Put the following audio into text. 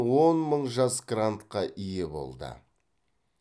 он мың жас грантқа ие болды